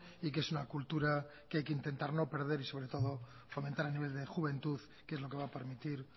y que es una cultura que hay que intentar no perder y sobre todo fomentar a nivel de juventud que es lo que va a permitir